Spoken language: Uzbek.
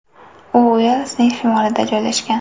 U Uelsning shimolida joylashgan.